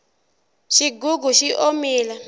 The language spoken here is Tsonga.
xigugu xi omile